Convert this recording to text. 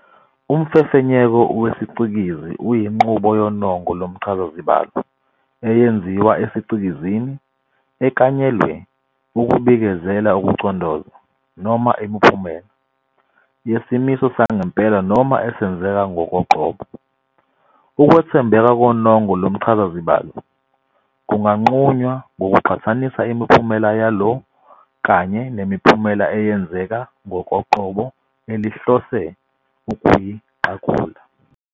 Umfefenyeko wesicikizi uyinqubo yonongo lomchazazibalo, eyenziwa esicikizini, eklanyelwe ukubikezela ukucondoza, noma imiphumela, yesimiso sangempela noma esenzeka ngokoqobo. Ukwethembeka konongo lomchazazibalo kunganqunywa ngokuqhathanisa imiphumela yalo kanye nemiphumela eyenzeka ngokoqobo elihlose ukuyiqagula.